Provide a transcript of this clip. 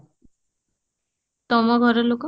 ତମ ଘର ଲୋକ?